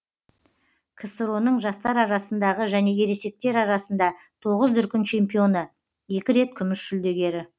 ксро ның жастар арасындағы және ересектер арасында тоғыз дүркін чемпионы екі рет күміс жүлдегері